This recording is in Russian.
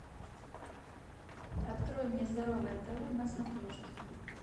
открой мне здоровое тв на смотрешке